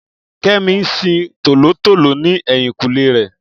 Kẹ́mi ń sin tòlótòló ní ẹ̀yìnkùlé rẹ̀